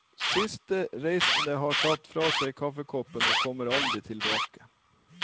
Siste reisende har satt fra seg kaffekoppen og kommer aldri tilbake.